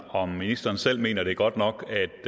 om ministeren selv mener at det er godt nok